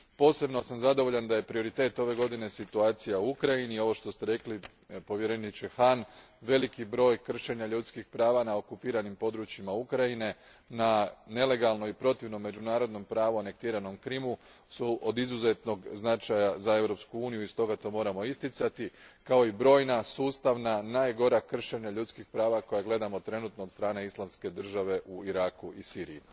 Posebno sam zadovoljan da je prioritet ove godine situacija u Ukrajini, i ovo što ste rekli povjereniče Hahn, veliki broj kršenja ljudskih prava na okupiranim područjima Ukrajine, na nelegalnom i protivno međunarodnom pravu anektiranom Krimu, od izuzetnog su značaja za Europsku uniju i stoga to moramo isticati kao i brojna, sustavna, najgora kršenja ljudskih prava koja gledamo trenutno od strane Islamske države u Iraku i Siriji.